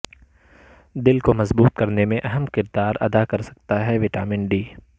دل کو مضبوط کرنے میں اہم کردار ادا کرسکتا ہے وٹامن ڈی